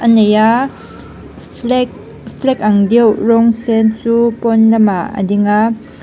nei a flag flag ang deuh rawng sen chu pawn lamah a ding a.